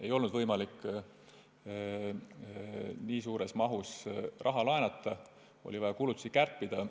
Ei olnud võimalik nii suures mahus raha laenata ja oli vaja kulutusi kärpida.